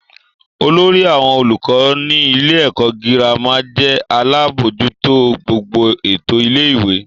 Olórí àwọn olùkọ́ nílé ẹ̀kọ́ girama jẹ́ alábójútó gbogbo ètò ilé-ìwé.